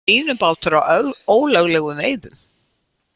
Línubátur á ólöglegum veiðum